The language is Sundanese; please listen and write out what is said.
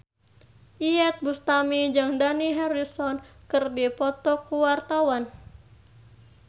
Iyeth Bustami jeung Dani Harrison keur dipoto ku wartawan